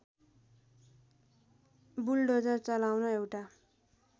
bulldozer चलाउन एउटा